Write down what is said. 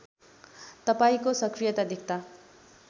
तपाईँको सकृयता देख्दा